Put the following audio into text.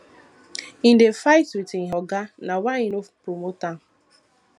im dey fight wit im oga na why im no promote am